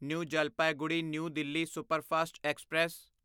new Jalpaiguri new Delhi superfast express